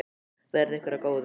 Verði ykkur að góðu.